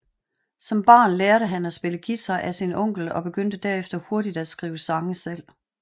Som barn lærte han at spille guitar af sin onkel og begyndte derefter hurtigt at skrive sange selv